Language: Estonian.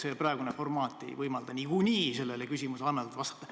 See praegune formaat ei võimalda niikuinii ammendavalt vastata.